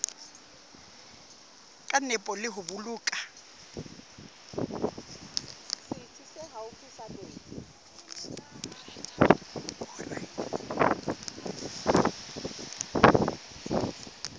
ka nepo le ho boloka